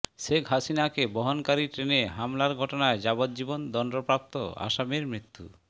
শেখ হাসিনাকে বহনকারী ট্রেনে হামলার ঘটনায় যাবজ্জীবন দণ্ডপ্রাপ্ত আসামির মৃত্যু